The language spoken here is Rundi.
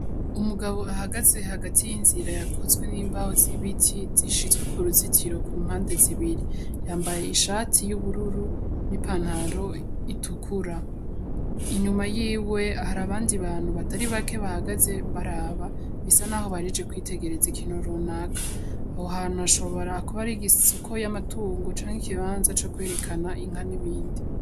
Umugabo ahagaze hagati y'inzira yakozwe nimbaho z'ibiti zishizwe ku ruzitiro kumpande zibiri yambaye ishati y'ubururu n'ipantaro itukura inyuma yiwe hari abandi bantu batari bake bahagaze baraba bisa naho bahejeje kwitegereza ikintu runaka aho hantu hashobora kuba ari isoko y'amatungo canke ikibanza co kwerekana inka n'ibindi